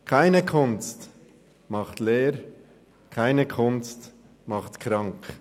keine Kunst macht leer, keine Kunst macht krank.